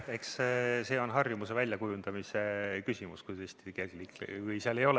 Eks see ole harjumuse väljakujundamise küsimus, kui seal kiirusmõõdikut peal ei ole.